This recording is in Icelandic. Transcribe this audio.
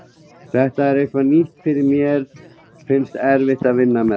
Þetta er eitthvað nýtt fyrir mér og mér finnst erfitt að vinna með þetta.